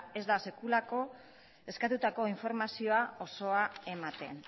ez da eskatutako informazio osoa ematen